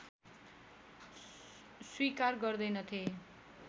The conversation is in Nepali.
स्वीकार गर्दैनथे